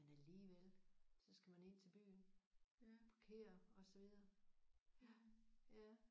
Men alligevel. Så skal man ind til byen. Og parkere og så videre